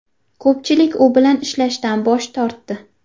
Ko‘pchilik u bilan ishlashdan bosh tortdi.